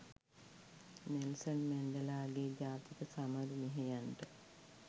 Nelson මැන්ඩෙලාගේ ජාතික සමරු මෙහෙයන්ට